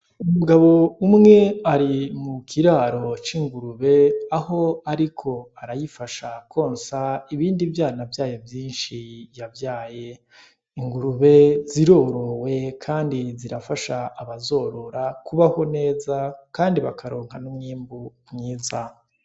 Umugabo umwe ari mu kiraro c'ingurube aho, ariko arayifasha konsa ibindi vyana vyayo vyinshi yavyaye ingurube zirorowe, kandi zirafasha abazorora kubaho neza, kandi bakaronka n'umwimbu mwiza.